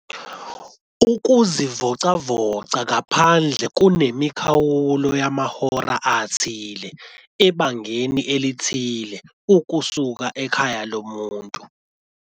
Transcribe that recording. .ukuzivocavoca ngaphandle kunemikhawulo yamahora athile ebangeni elithile ukusuka ekhaya lomuntu.